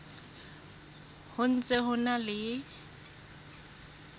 ho ntse ho na le